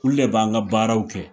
Olu de b'an ka baaraw kɛ